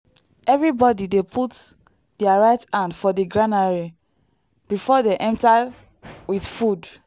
everybody dey put their their right hand for di granary before dem enter with food.